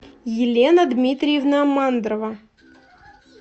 елена дмитриевна мандрова